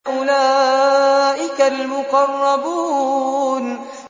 أُولَٰئِكَ الْمُقَرَّبُونَ